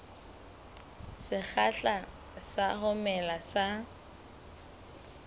sekgahla sa ho mela ha